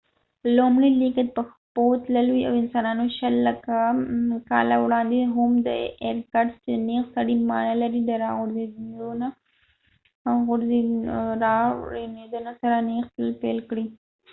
لومړنی لېږد په پښو تلل و، انسانانو شل لکه کاله وړاندې د هومو اېرکټس چې نېغ سړي معنا لري د رازرغونېدا سره نېغ تلل پیل کړل